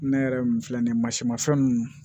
Ne yɛrɛ min filɛ nin ye masimafɛn ninnu